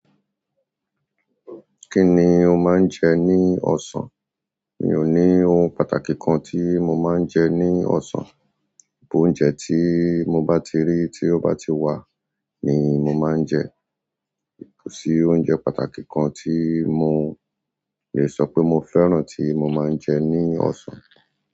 Kíni o máa ń jẹ ní ọ̀sán mi ò ní ohun pàtàkì kan tí mo máa ń jẹ ní ọ̀sán. Bo oúnjẹ tí mo bá ti rí, tí ó bá ti wà ni mo máa ń jẹ. Kò sí oúnjẹ pàtàkì kan tí mo lè sọ pé mo fẹ́ràn tí mo máa ń jẹ ní ọ̀san.